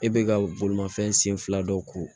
E bɛ ka bolimafɛn sen fila dɔ ko